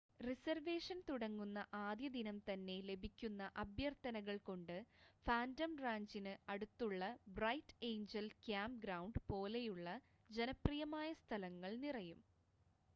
reservation തുടങ്ങുന്ന ആദ്യ ദിനം തന്നെ ലഭിക്കുന്ന അഭ്യർത്ഥനകൾ കൊണ്ട് ഫാൻറ്റം റാഞ്ചിന് അടുത്തുള്ള ബ്രൈറ്റ് എയ്ഞ്ചൽ ക്യാമ്പ്ഗ്രൗണ്ട് പോലെയുള്ള ജനപ്രിയമായ സ്ഥലങ്ങൾ നിറയും